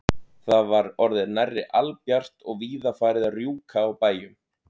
Það var orðið nærri albjart og víða farið að rjúka á bæjum.